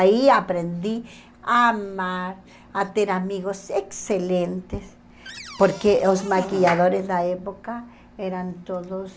Aí aprendi a amar, a ter amigos excelentes, porque os maquiadores da época eram todos